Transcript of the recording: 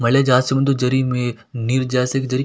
ಮಳೆ ಜಾಸ್ತಿ ಬಂದು ಜರಿ ನೀರ್ ಜಾಸ್ತಿ ಆಗಿ ಜರಿ --